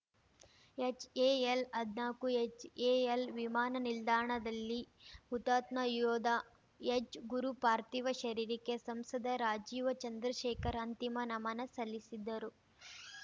ಎಚ್‌ಎಎಲ್‌ಹದ್ನಾಕು HAL ವಿಮಾನ ನಿಲ್ದಾಣದಲ್ಲಿ ಹುತಾತ್ಮ ಯೋಧ ಎಚ್‌ ಗುರು ಪಾರ್ಥಿವ ಶರೀರಕ್ಕೆ ಸಂಸದ ರಾಜೀವ ಚಂದ್ರಶೇಖರ್‌ ಅಂತಿಮ ನಮನ ಸಲ್ಲಿಸಿದ್ದರು